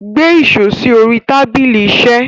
Gbé iṣo sí orí tábílí iṣé.